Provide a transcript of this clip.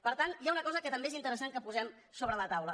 per tant hi ha una cosa que també és interessant que posem sobre la taula